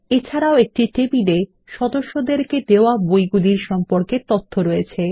এছাড়াও একটি টেবিলে সদস্যদেরকে বইগুলির সম্পর্কে তথ্য রয়েছে